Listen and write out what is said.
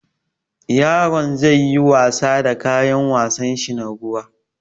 Yaron zai yi wasa da kayan wasanshi na ruwa.